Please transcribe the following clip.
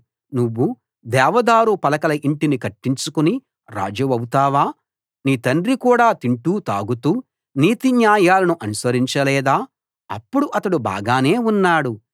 నువ్వు దేవదారు పలకల ఇంటిని కట్టించుకుని రాజువవుతావా నీ తండ్రి కూడా తింటూ తాగుతూ నీతిన్యాయాలను అనుసరించలేదా అప్పుడు అతడు బాగానే ఉన్నాడు